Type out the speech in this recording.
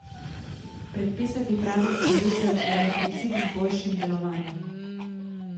Predpisati pravo usmeritev je le princip z boljšim delovanjem.